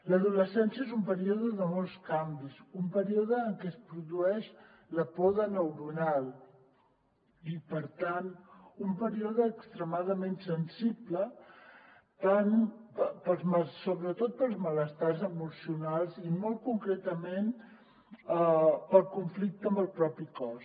l’adolescència és un període de molts canvis un període en què es produeix la poda neuronal i per tant un període extremadament sensible sobre·tot pels malestars emocionals i molt concretament pel conflicte amb el propi cos